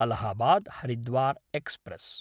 Allahabad-Haridwar express